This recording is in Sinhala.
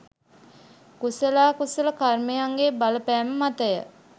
කුසලා කුසල කර්මයන්ගේ බලපෑම මතය.